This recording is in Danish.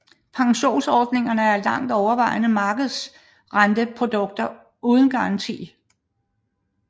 Pensionsordningerne er langt overvejende markedsrenteprodukter uden garanti